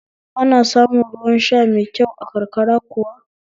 Ana samun ruwan sha mai kyau a karkara kuwa?